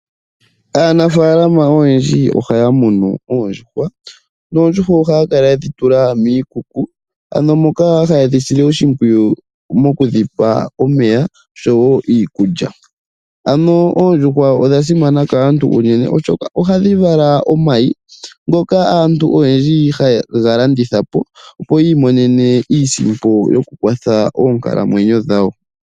Aanafaalama oyendji ohaya munu oondjuhwa, noondjuhwa ohaya kala yedhi tula miikuku, ano moka haye dhi sile oshimpwiyu moku dhi pa omeya oshowo iikulya. Ano oondjuhwa odha simana kaantu unene, oshoka ohadhi vala omayi ngoka aantu oyendji haye ga landitha po, opo yi imonene iisimpo yoku kwatha monkalamwenyo dhawo.